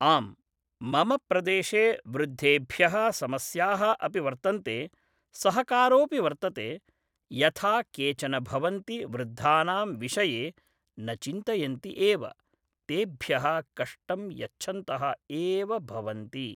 आम् मम प्रदेशे वृद्धेभ्यः समस्याः अपि वर्तन्ते सहकारोऽपि वर्तते यथा केचन भवन्ति वृद्धानां विषये न चिन्तयन्ति एव तेभ्यः कष्टं यच्छन्तः एव भवन्ति